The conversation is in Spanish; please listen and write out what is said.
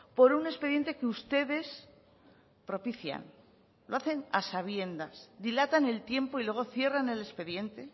por un expediente que ustedes propician lo hacen a sabiendas dilatan el tiempo y luego cierran el expediente